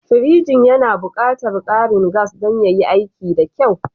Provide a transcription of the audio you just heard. Pirjin yana buƙatar ƙarin gas don yayi aiki da kyau.